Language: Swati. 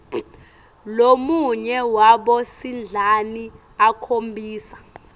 lomunye wabosidlani akhombisa